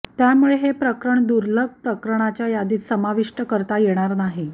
त्यामुळे हे प्रकरण दुर्लभ प्रकरणाच्या यादीत समाविष्ट करता येणार नाही